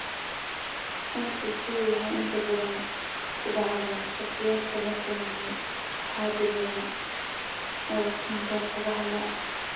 SCC waxay inta badan ku dhacdaa shakhsiyaadka la kulmay xaddi badan oo iftiinka qorraxda ah.